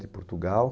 De Portugal.